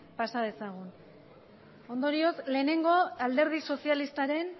pasa dezagun ondorioz lehenengo alderdi sozialistaren